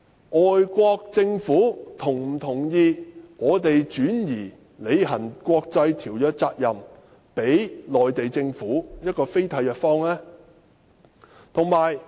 外國政府是否同意香港把履行國際條約的責任轉交予非締約方的內地？